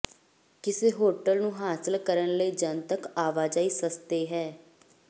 ਕਿਸ ਹੋਟਲ ਨੂੰ ਹਾਸਲ ਕਰਨ ਲਈ ਜਨਤਕ ਆਵਾਜਾਈ ਸਸਤੇ ਹੈ